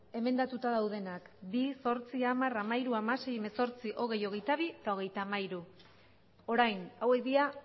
emendatuta daudenak bi zortzi hamar hamairu hamasei hemezortzi hogei hogeita bi eta hogeita hamairu orain hauek dira